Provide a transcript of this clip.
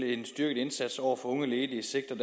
en styrket indsats over for unge ledige sigter